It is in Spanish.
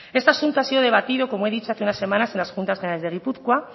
este asunto ha sido debatido como he dicho hace unas semanas en las juntas generales de gipuzkoa